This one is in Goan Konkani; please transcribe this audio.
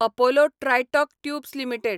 Apollo tricot tubes limited